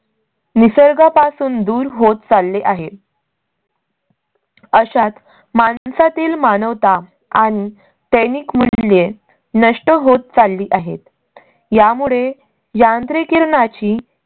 निसर्गा पासून दूर होत चालले आहे. अशात माणसातील मानवता आणि नैतिक मूल्ये नष्ट होत चालली आहेत. . यामुळे यांत्रिकीकरणाची